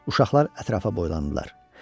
Uşaqlar ətrafa boylandılar.